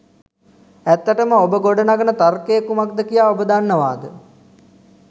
ඇත්තටම ඔබ ගොඩ නගන තර්කය කුමක්ද කියා ඔබ දන්නවාද?